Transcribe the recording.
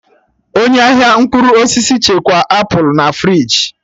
Onye ahịa mkpụrụ osisi chekwaa apụl na friji